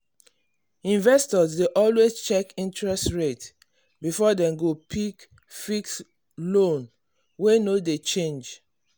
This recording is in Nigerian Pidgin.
investor dey always check interest rate before dem go pick fixed loan wey no dey change.